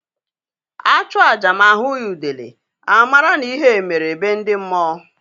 A chụọ aja ma a hụghị udele, a mara na ihe mere be ndi mmụọ